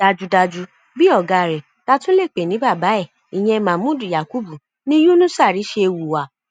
dájúdájú bíi ọgá rẹ tá a tún lè pè ní bàbá ẹ ìyẹn mahmood yakubu ni yunusàarí ṣe hùwà